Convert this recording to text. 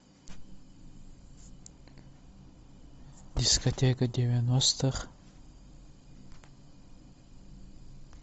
дискотека девяностых